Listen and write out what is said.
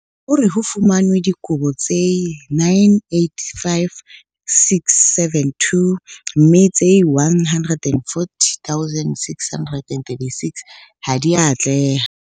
O re ho fumanwe dikopo tse 985 672 mme tse 140 636 ha di a atleha.